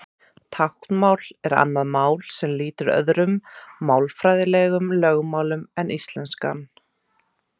Táknmál er annað mál sem lýtur öðrum málfræðilegum lögmálum en íslenskan.